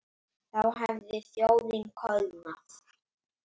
Þá hefði þjóðin koðnað.